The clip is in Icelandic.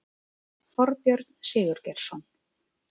Þorbjörn Sigurgeirsson